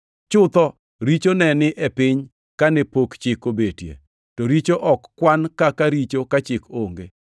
chutho richo ne ni e piny kane pok Chik obetie. To richo ok kwan kaka richo ka Chik onge.